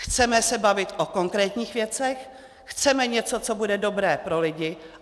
Chceme se bavit o konkrétních věcech, chceme něco, co bude dobré pro lidi.